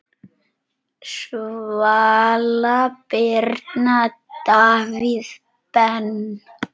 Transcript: Svala Birna, Davíð Ben.